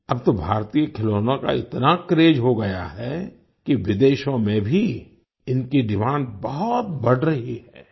अब तो भारतीय खिलौनों का इतना क्रेज हो गया है कि विदेशों में भी इनकी डिमांड बहुत बढ़ रही है